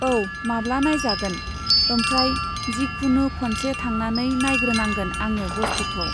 औ माब्ला नायजागोन? ओमफ्राय जिखुनु खनसे थांनानै नायग्रोनांगोन आङो बस्तुखौ।